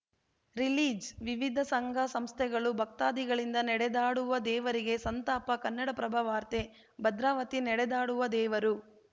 release ವಿವಿಧ ಸಂಘಸಂಸ್ಥೆಗಳು ಭಕ್ತಾದಿಗಳಿಂದ ನಡೆದಾಡುವ ದೇವರಿಗೆ ಸಂತಾಪ ಕನ್ನಡಪ್ರಭ ವಾರ್ತೆ ಭದ್ರಾವತಿ ನಡೆದಾಡುವ ದೇವರು